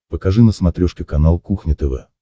покажи на смотрешке канал кухня тв